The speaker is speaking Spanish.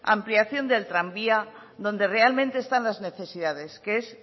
ampliación del tranvía donde realmente están las necesidades que es